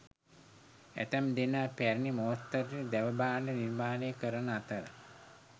ඇතැම් දෙනා පැරණි මෝස්තරයට දැව භාණ්ඩ නිර්මාණය කරන අතර